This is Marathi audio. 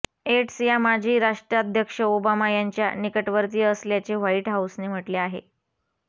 येट्स या माजी राष्ट्राध्यक्ष ओबामा यांच्या निकटवर्तीय असल्याचे व्हाईट हाऊसने म्हटले आहे